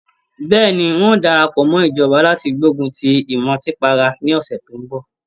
Bẹ́ẹ̀ni, ń ó darapọ̀ mọ́ ìjọba láti gbógun ti ìmùtípara ní ọ̀sẹ̀ tó ń bọ̀